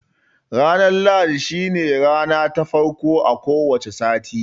Ranar lahadi shi ne rana ta farko a ko wace sati